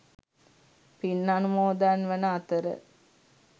පින් අනුමෝදන් වන අතර